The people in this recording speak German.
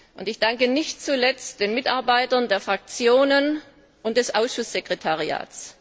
Und ich danke nicht zuletzt den Mitarbeitern der Fraktionen und des Ausschusssekretariats.